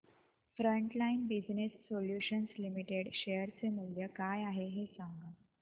frontline Business Solutions Limited share चे मूल्य काय आहे हे सांगा